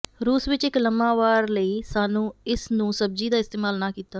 ਰੂਸ ਵਿੱਚ ਇੱਕ ਲੰਮਾ ਵਾਰ ਲਈ ਸਾਨੂੰ ਇਸ ਨੂੰ ਸਬਜ਼ੀ ਦਾ ਇਸਤੇਮਾਲ ਨਾ ਕੀਤਾ